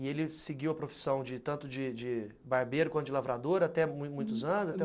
E ele seguiu a profissão tanto de de barbeiro quanto de lavrador até muitos anos?